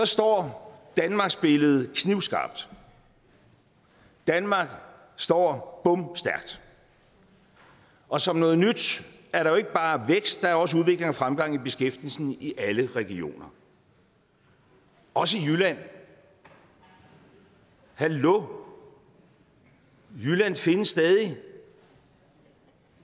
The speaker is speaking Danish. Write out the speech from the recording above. står danmarksbilledet knivskarpt danmark står bomstærkt og som noget nyt er der jo ikke bare vækst der er også udvikling og fremgang i beskæftigelsen i alle regioner også i jylland hallo jylland findes stadig